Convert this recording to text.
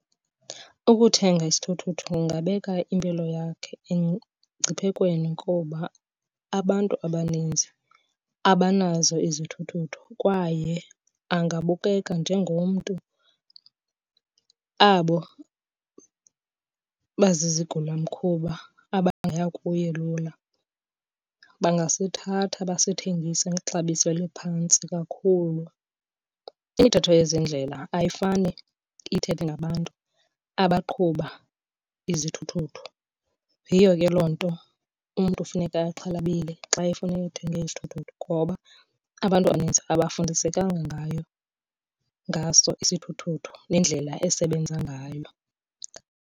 Ukuthenga isithuthuthu kungabeka impilo yakhe emngciphekweni kuba abantu abaninzi abanazo izithuthuthu kwaye angabukeka njengomntu abo bazizigilamkhuba abangaya kuye lula. Bangasithatha basithengise ngexabiso eliphantsi kakhulu. Imithetho yezendlela ayifane ithethe ngabantu abaqhuba izithuthuthu, yiyo ke loo nto umntu funeka exhalabile xa efuneka ethenge isithuthuthu ngoba abantu abaninzi abafundisekanga ngaso isithuthuthu nendlela esebenza ngayo.